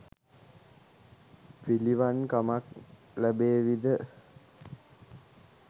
පිළිවන් කමක් ලැබේවි ද?